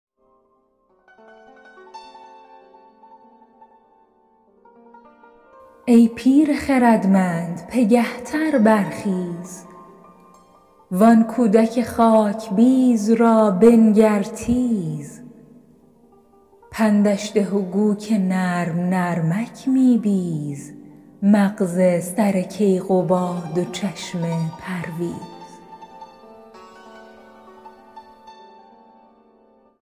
ای پیر خردمند پگه تر برخیز وآن کودک خاکبیز را بنگر تیز پندش ده گو که نرم نرمک می بیز مغز سر کیقباد و چشم پرویز